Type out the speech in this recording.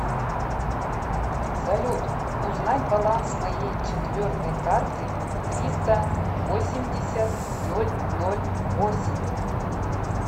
салют узнать баланс моей четвертой карты триста восемьдесят ноль ноль восемь